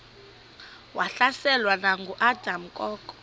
wahlaselwa nanguadam kok